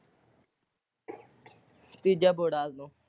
ਤੀਜਾ ਬੋਹੜਾਂ ਵੱਲੋਂ।